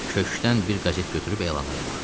Köşkdən bir qəzet götürüb elanlara baxdım.